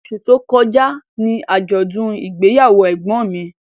Osù tó kọjá ni àjọ̀dún ìgbéyàwó ẹ̀gbọ́n mi